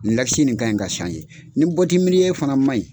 nin kan ɲi ka ni bɔti fana man ɲi